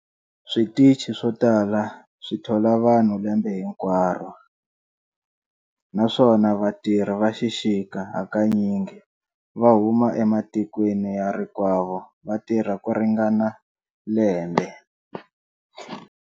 Switichi swo tala swi thola vanhu lembe hinkwaro, naswona vatirhi va xixika hakanyingi va huma ematikweni ya rikwavo va tirha ku ringana lembe.